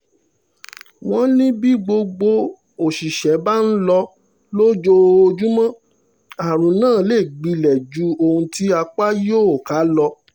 wọ́n ní bí gbogbo òṣìṣẹ́ bá ń lọ lójoojúmọ́ àrùn náà lè gbilẹ̀ ju ohun tí apá yóò ká lọ